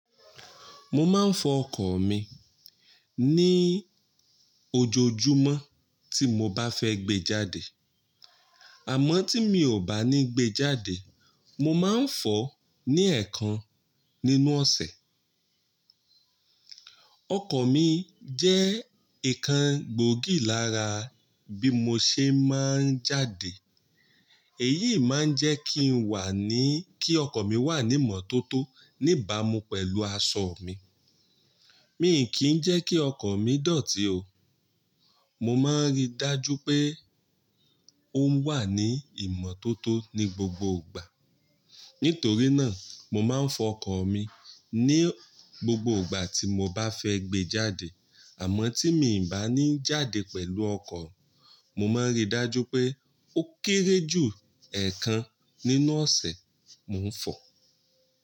Mo máa ń fọ ọkọ̀ mi ní ojoojúmọ́ tí mo bá fẹ́ gbé jáde. Àmọ́ tí mi ò bá ní gbé jáde, mo máa ń fọ ní ẹ̀ẹ̀kan nínú ọ̀sẹ̀. Ọkọ̀ mi jẹ́ ìkan gbòógì lára bí mo ṣe máa ń jáde. Èyí máa ń jẹ́ kí n wà ní kí ọkọ̀ mi wà ní ìmọ́tótó ní ìbámu pẹ̀lú aṣọ mi. Mi kì í jẹ́ kí ọkọ̀ mi dọ̀tí o. Mo máa ń rí dájú pé ó wà ní ìmọ́tótó ní gbogbo ìgbà. Nítorí náà, mo máa ń fọ ọkọ̀ mi ní gbogbo ìgbà tí mo bá fẹ́ gbé jáde. Àmọ́ tí mi i bá ní jáde pẹ̀lú ọkọ̀, mo máa ń rí dájú pé ó kéré jù ẹ̀ẹ̀kan nínú ọ̀sẹ̀ mo ń fọ.